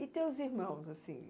E teus irmãos, assim?